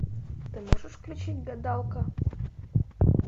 ты можешь включить гадалка